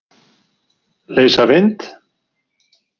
Leysa vind?